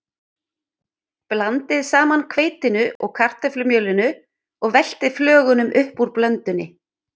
Blandið saman hveitinu og kartöflumjölinu og veltið flögunum upp úr blöndunni.